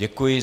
Děkuji.